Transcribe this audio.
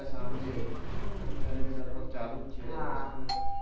સાંજે અત્યારે ભી લગભગ ચાલુજ છે